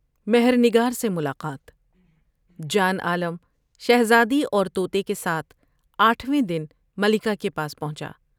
مہر نگار سے ملاقات جان عالم شہزادی اور توتے کے ساتھ آٹھویں دن ملکہ کے پاس پہنچا ۔